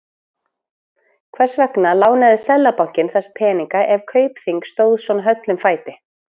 Hvers vegna lánaði Seðlabankinn þessa peninga ef Kaupþing stóð svona höllum fæti?